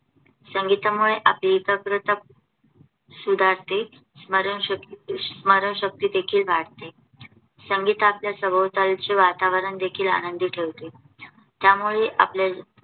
सुधारते आणि स्मरणशक्ती देखील वाढते. संगीत आपले सभोवतालचे वातावरण देखील आनंदी ठेवते. त्यामुळे आपले जीवनावर